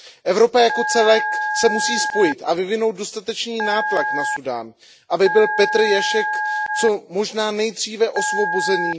Evropa jako celek se musí spojit a vyvinout dostatečný nátlak na Súdán, aby byl Petr Ježek co možná nejdříve osvobozen.